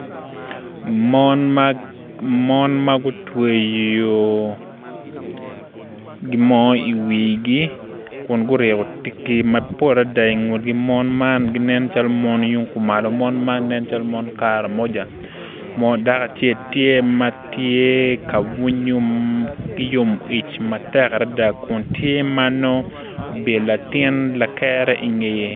Mon magutweyo gimo i wigi kun guriyo tiki mapol adada ingutgi mon man nen calo mon yungkumalo mon man nen calo mon karamoja dako acel tye matye ka bunyo ki yomic matek adada kun tye manongo obyelo latin lakere ingeye.